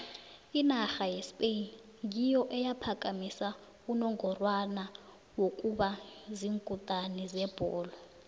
inarha yespain ngiyo eyaphakamisa unongorwana wokuba ziinkutini zebholo